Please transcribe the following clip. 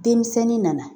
Denmisɛnnin nana